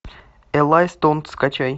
элай стоун скачай